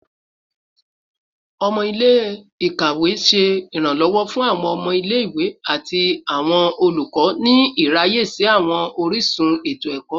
Ọmọ ile-ikawe ṣe iranlọwọ fun awọn ọmọ ile-iwe ati awọn olukọ ni iraye si awọn orisun eto-ẹkọ